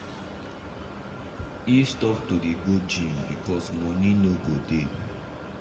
he stop to dey go gym because money no go dey